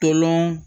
Tolɔn